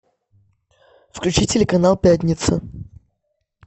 включи телеканал пятница